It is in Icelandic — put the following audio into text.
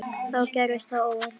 Þá gerðist það óvænta.